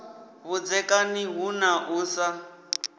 vhudzekani hu na u sa